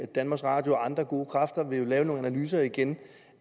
danmarks radio og andre gode kræfter formodentlig vil lave nogle analyser igen